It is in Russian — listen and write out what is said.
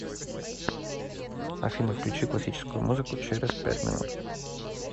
афина включи классическую музыку через пять минут